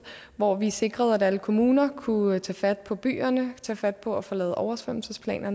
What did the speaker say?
hvor vi sikrede at alle kommuner kunne tage fat på byerne tage fat på at få lavet oversvømmelsesplaner